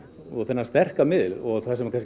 og þennan sterka miðil og